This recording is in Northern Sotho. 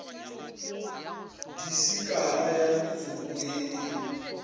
disikara ya metsoko ye e